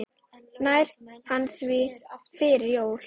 Nær hann því fyrir jólin?